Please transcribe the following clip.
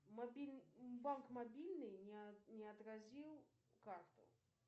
банк мобильный не отразил карту